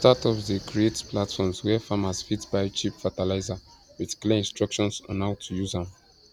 startups dey create platforms where farmers fit buy cheap fertilizer with clear instructions on how to use am